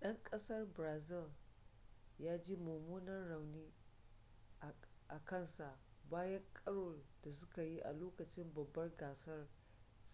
'dan kasar brazil ya ji mummunan rauni a kansa bayan karon da suka yi a lokacin babbar gasar